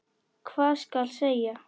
Hvað skal segja?